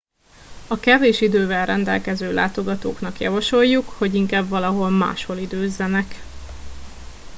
a kevés idővel rendelkező látogatóknak javasoljuk hogy inkább valahol máshol időzzenek